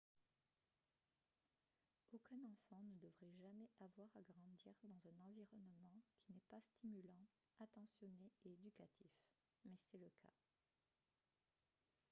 aucun enfant ne devrait jamais avoir à grandir dans un environnement qui n'est pas stimulant attentionné et éducatif mais c'est le cas